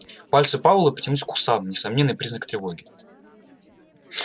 пальцы пауэлла потянулись к усам несомненный признак тревоги